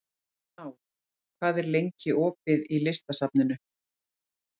Náð, hvað er lengi opið í Listasafninu?